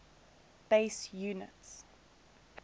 base units